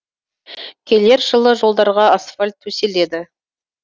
келер жылы жолдарға асфальт төселеді